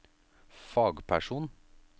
fagperson